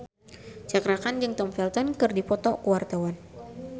Cakra Khan jeung Tom Felton keur dipoto ku wartawan